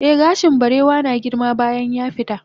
eh gashin barewa na girma bayan yafita